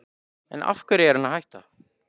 En af hverju er hann að hætta?